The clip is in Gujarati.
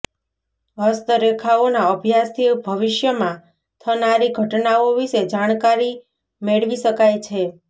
હસ્ત રેખાઓના અભ્યાસથી ભવિષ્યમાં થનારી ઘટનાઓ વિશે જાણકારી મેળવી શકાય છે